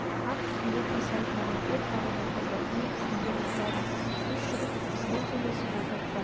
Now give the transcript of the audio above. ат үстінде қисайып маған көп қарап отырды мен түсімді бұзбадым үш жігіт бізбен сөйлесіп отырып танымай